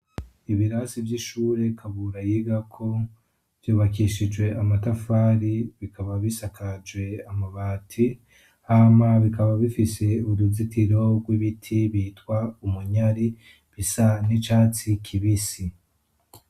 ibirasi by'ishure kabura yigako byubakishije amatafari bikaba bisakaje amabati hama bikaba bifise uruzitiro rw'ibiti bitwa umunyari bisa n'icatsi kibisi